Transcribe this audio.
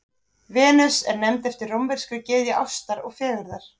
Venus er nefnd eftir rómverskri gyðju ástar og fegurðar.